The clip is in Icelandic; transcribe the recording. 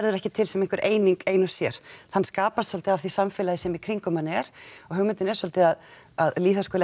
ekki til sem einhver eining ein og sér hann skapast svolítið af því samfélagi sem í kringum hann er og hugmyndin er svolítið að að lýðháskóli